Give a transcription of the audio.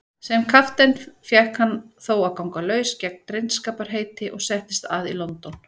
Sem kapteinn fékk hann þó að ganga laus gegn drengskaparheiti og settist að í London.